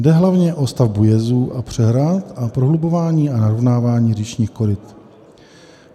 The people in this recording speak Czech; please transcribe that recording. Jde hlavně o stavbu jezů a přehrad a prohlubování a narovnávání říčních koryt.